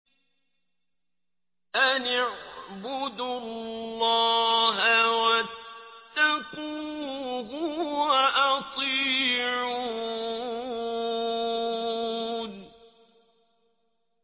أَنِ اعْبُدُوا اللَّهَ وَاتَّقُوهُ وَأَطِيعُونِ